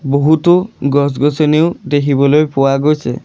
বহুতো গছ-গছনিও দেখিবলৈ পোৱা গৈছে।